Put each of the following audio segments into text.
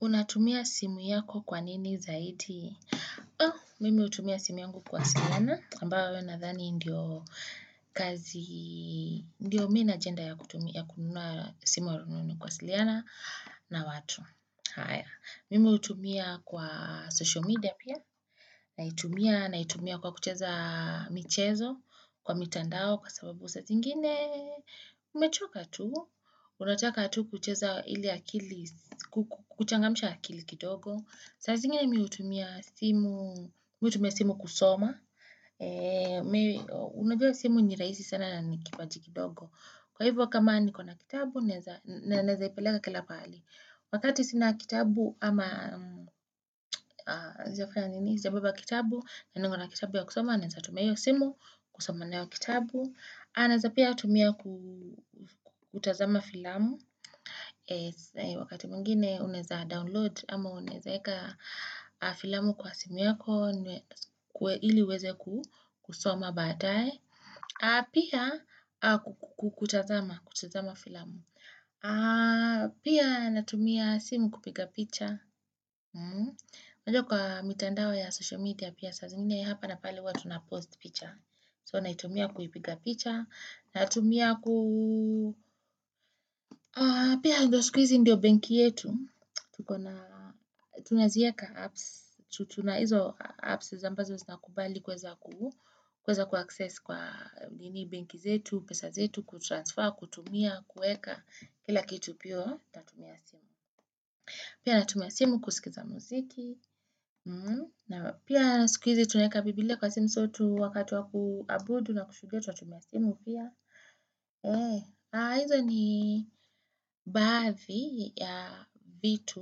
Unatumia simu yako kwa nini zaidi? Oh, mimi hutumia simu yungu kuwasiliana. Ambayo nadhani ndio kazi, ndio mi na ajenda ya kutumia kununua simu ya rununu kuwasiliana na watu. Haya, mimi utumia kwa social media pia. Naitumia, naitumia kwa kucheza michezo, kwa mitandao, kwa sababu saa zingine. Umechoka tu, unataka tu kucheza ili akili, kuchangamisha akili kidogo. Saa zingine mi hutumia simu, mi hutumia simu kusoma. Unajua simu n irahisi sana na ni kipaji kidogo. Kwa hivo kama niko na kitabu, naezaipeleka kila pahali. Wakati sina kitabu ama, za kufanya nini, naeza kubeba kitabu, nangona kitabu ya kusoma, naeza tumia hio simu kusoma nayo kitabu. Aha naeza pia kutumia kutazama filamu, wakati mwngine unaeza download ama uneza eka filamu kwa simu yako, ili uweze kusoma baadaye, aah pia kutazama filamu. Pia natumia simu kupiga picha, Mmh unajua kwa mitandao ya social media Pia saa zingine hapa na pale huwa tunapost picha So naitumia kuipiga picha Naitumia ku Pia ndo siku hizi ndio benki yetu, tunazieka apps tuna hizo apps ambazo zinakubali kuweza kuaccess kwa nini benki zetu pesa zetu kutransfer, kutumia, kueka Kila kitu pia natumia simu. Pia natumia simu kusikiza muziki. Na pia siku hizi tunaeka bibilia kwa simu so tu wakati wa kuabudu na kushuhudia tunatumia simu pia eeh. Aah hizo ni baadhi ya vitu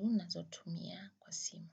ninazotumia kwa simu.